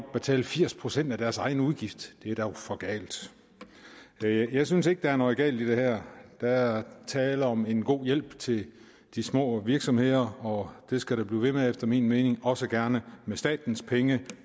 at betale firs procent af deres egen udgift det er dog for galt jeg synes ikke der er noget galt i det her der er tale om en god hjælp til de små virksomheder og den skal blive ved efter min mening også gerne for statens penge